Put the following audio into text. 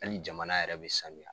Ali jamana yɛrɛ be sanuya